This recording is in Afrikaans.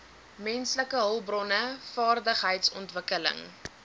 menslike hulpbronne vaardigheidsontwikkeling